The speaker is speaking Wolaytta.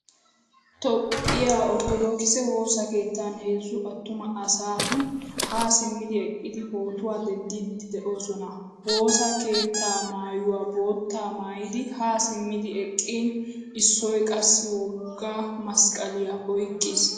Toophphiyaa Ortodokise woosa keettan heezzu attuma asati ha simidi eqqidi pootuwaa denddidi deosona. Woosaa keette maayuwaa boottaa mayidi ha simidi eqqin issoy qassi wogga masqaliya oyqqqiis.